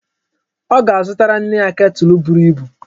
Ọ ga-azụtara nne ya ketụl buru ibu.